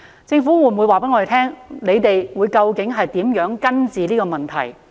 政府會否告訴我們，究竟如何根治這個問題？